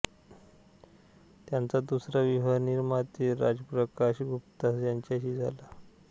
त्यांचा दुसरा विवाह निर्माते राजप्रकाश गुप्ता यांच्याशी झाला